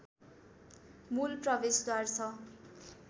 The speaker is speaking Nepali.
मूल प्रवेशद्वार छ